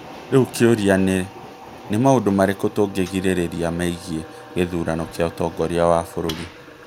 Rĩu kĩũria nĩ, nĩ maũndũ marĩkũ tũngĩĩrĩgĩrĩra megiĩ gĩthurano kĩa ũtongoria wa bũrũri?